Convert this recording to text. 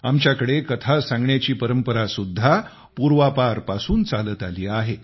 आमच्याकडे कथा सांगण्याची परंपरा सुद्धा पूर्वापारपासून चालत आली आहे